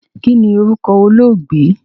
Kínní orúkọ olóògbé?